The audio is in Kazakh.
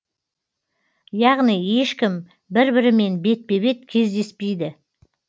яғни ешкім бір бірімен бетпе бет кездеспейді